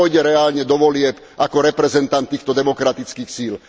Kto pôjde reálne do volieb ako reprezentant týchto demokratických síl?